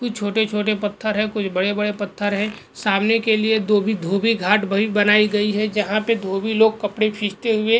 कुछ छोटे छोटे पत्थर है कुछ बड़े बड़े पत्थर है सामने के लिए धोभी धोभीघाट भ बनायीं गयी है जहा पे धोभी लोग कपडे खिचते हुए --